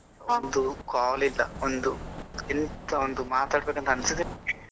ಒಂದು call ಇಲ್ಲಾ ಒಂದು ಎಂತ ಒಂದು ಮಾತಾಡ್ಬೇಕಂತ ಅನ್ನಿಸುವುದಿಲ್ವಾ.